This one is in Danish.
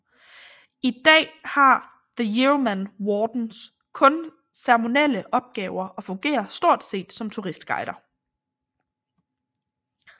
I dag har the Yeoman Wardens kun ceremonielle opgaver og fungerer stort set som turistguider